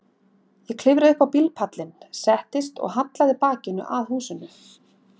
Ég klifraði upp á bílpallinn, settist og hallaði bakinu að húsinu.